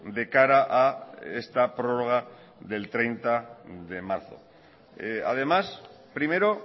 de cara a esta prórroga del treinta de marzo además primero